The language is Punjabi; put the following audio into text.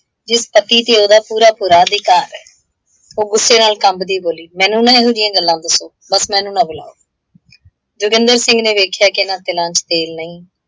ਜਿਸ ਪਤੀ ਤੇ ਉਹਦਾ ਪੂਰਾ ਪੂਰਾ ਅਧਿਕਾਰ ਹੈ। ਉਹ ਗੁੱਸੇ ਨਾਲ ਕੰਬਦੀ ਬੋਲੀ, ਮੈਨੂੰ ਨਾ ਇਹੋ ਜਿਹੀਆਂ ਗੱਲਾਂ ਦਸੋ, ਬਸ ਮੈਨੂੰ ਨਾ ਬੁਲਾਓ। ਜੋਗਿੰਦਰ ਸਿੰਘ ਨੇ ਵੇਖਿਆ ਕਿ ਇਹਨਾਂ ਤਿਲਾਂ ਚ ਤੇਲ ਨਹੀਂ,